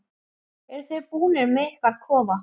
Eruð þið búnir með ykkar kofa?